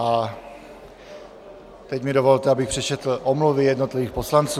A teď mi dovolte, abych přečetl omluvy jednotlivých poslanců.